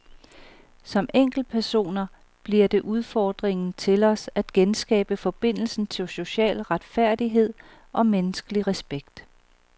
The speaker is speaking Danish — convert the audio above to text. Som enkeltpersoner bliver det udfordringen til os at genskabe forbindelsen til social retfærdighed og menneskelig respekt.